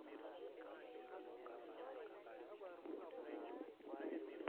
eetai impoosho naagol enkinyang'a toonkulie